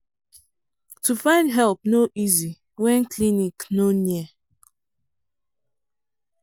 to find help no easy when clinic no near.